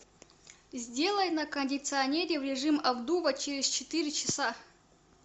сделай на кондиционере в режим обдува через четыре часа